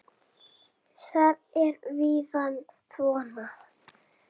Þar er vísan svona